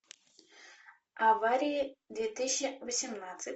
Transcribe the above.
аварии две тысячи восемнадцать